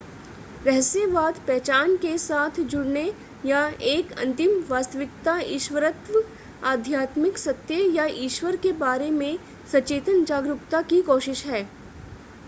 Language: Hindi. रहस्यवाद पहचान के साथ जुड़ने या एक अंतिम वास्तविकता ईश्वरत्व आध्यात्मिक सत्य या ईश्वर के बारे में सचेतन जागरूकता की कोशिश है